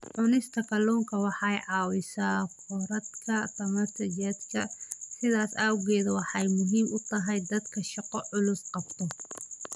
Cunista kalluunku waxa ay caawisaa korodhka tamarta jidhka, sidaas awgeed waxa ay muhiim u tahay dadka shaqo culus qabta.